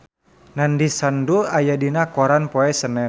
Nandish Sandhu aya dina koran poe Senen